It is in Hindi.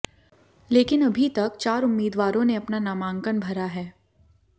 लेकिन अभी तक चार उम्मीदवारों ने अपना नामांकन भरा है